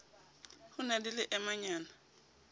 ho e na le leemenyana